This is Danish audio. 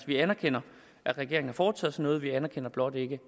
vi anerkender at regeringen har foretaget sig noget vi anerkender blot ikke